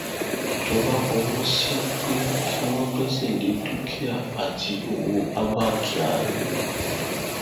ìjọba fọwọ sí i pé kí wọn gbẹsẹ lé dúkìá àti ọwọ abba kyari